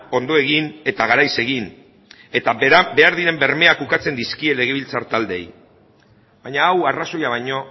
ondo egin eta garaiz egin eta berak behar diren bermeak ukatzen dizkie legebiltzar taldeei baina hau arrazoia baino